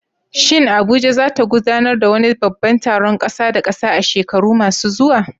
Shin Abuja za ta gudanar da wani babban taron ƙasa da ƙasa a shekaru masu zuwa?